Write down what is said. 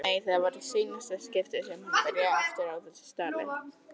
Nei, það var í seinna skiptið sem hún byrjaði aftur á þessu tali.